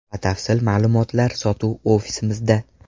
Batafsil ma’lumotlar sotuv ofisimizda.